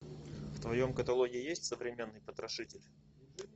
в твоем каталоге есть современный потрошитель